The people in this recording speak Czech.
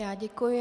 Já děkuji.